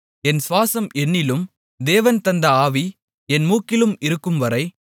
என் சுவாசம் என்னிலும் தேவன் தந்த ஆவி என் மூக்கிலும் இருக்கும்வரை